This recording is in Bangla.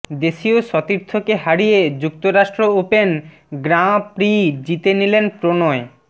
দেশীয় সতীর্থকে হারিয়ে যুক্তরাষ্ট্র ওপেন গ্রাঁ প্রি জিতে নিলেন প্রণয়